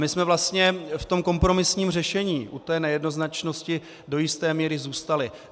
My jsme vlastně v tom kompromisním řešení u té nejednoznačnosti do jisté míry zůstali.